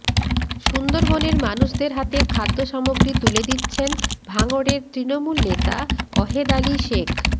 সুন্দরবনের মানুষের হাতে খাদ্য সামগ্রী তুলে দিচ্ছেন ভাঙড়ের তৃণমূল নেতা অহেদালি শেখ